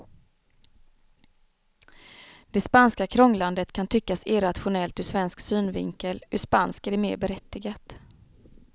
Det spanska krånglandet kan tyckas irrationellt ur svensk synvinkel, ur spansk är det mer berättigat.